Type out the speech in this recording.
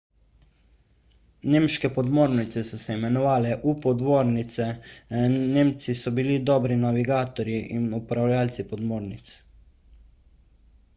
nemške podmornice so se imenovale u-podmornice nemci so bili dobri navigatorji in upravljavci podmornic